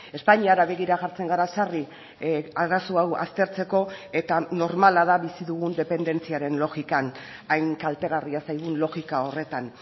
espainiara begira jartzen gara sarri arazo hau aztertzeko eta normala da bizi dugun dependentziaren logikan hain kaltegarria zaigun logika horretan